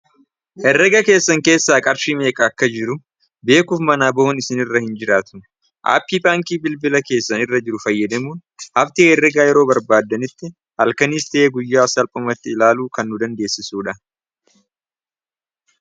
herrega keessan keessaa qarshii meeqaa akka jiru beekuuf manaa bo'un isin irra hin jiraatu aappii paankii bilbila keessan irra jiru fayyadamuun hafti herrega yeroo barbaaddanitti halkaniis ta'ee guyyaa salphamatti ilaalu kan nu dandeessisuudha